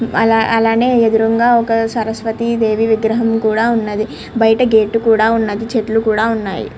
అల్లానే ఎదురుగ ఒక సరస్వతి దేవి విగ్రహం కూడా ఉంది బయట గెట్ కూడా ఉన్నది చెట్లు కూడా ఉన్నవి.